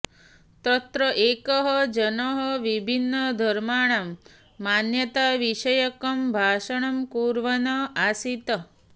तत्र एकः जनः विभिन्नधर्माणां मान्यताविषयकं भाषणं कुर्वन् आसीत्